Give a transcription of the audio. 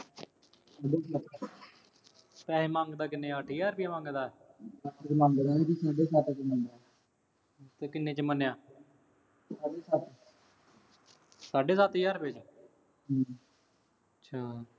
ਪੈਸੇ ਮੰਗਦਾ ਕਿੰਨੇ ਆ ਅੱਠ ਹਜ਼ਾਰ ਰੁਪਇਆ ਮੰਗਦਾ। ਅੱਠ ਮੰਗਦਾ ਸੀ ਤੇ ਚ ਮੰਨਿਆ। ਤੇ ਕਿੰਨੇ ਚ ਮੰਨਿਆ। ਸਾਢੇ ਸੱਤ। ਸਾਢੇ ਸੱਤ ਹਜ਼ਾਰ ਰੁਪਏ ਚ। ਹੂੰ। ਅੱਛਾ।